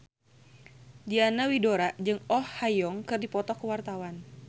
Diana Widoera jeung Oh Ha Young keur dipoto ku wartawan